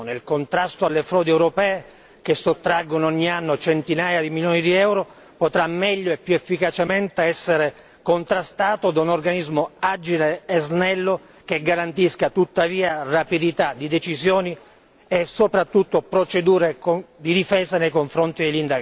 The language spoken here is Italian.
Il contrasto alle frodi europee che sottraggono ogni anno centinaia di milioni di euro potrà meglio e più efficacemente essere contrastato da un organismo agile e snello che garantisca tuttavia rapidità di decisioni e soprattutto procedure di difesa nei confronti degli indagati.